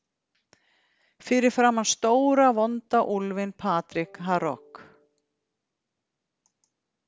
Fyrir framan stóra vonda úlfinn Patrik Harok.